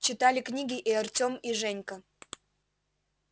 читали книги и артем и женька